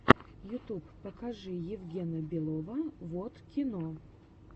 ютуб покажи евгена белова воткино